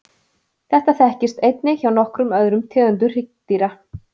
Þetta þekkist einnig hjá nokkrum öðrum tegundum hryggdýra.